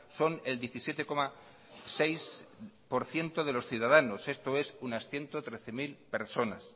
son el diecisiete coma seis por ciento de los ciudadanos esto es unas ciento trece mil personas